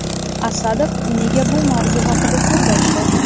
Asadov nega bu mavzu haqida so‘z ochdi?.